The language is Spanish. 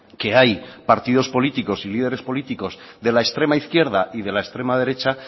que hay partidos políticos y líderes políticos de la extrema izquierda y de la extrema derecha